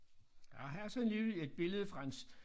Nåh her er så alligevel et billede fra en